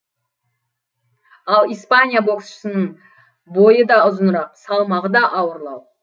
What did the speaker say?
ал испания боксшысының бойы да ұзынырақ салмағы да ауырлау